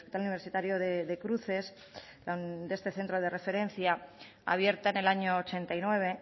universitario de cruces de este centro de referencia abierta en el año ochenta y nueve